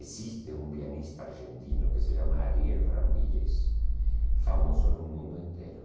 Existe um pianista argentino que se chama Ariel Ramírez, famoso no mundo inteiro.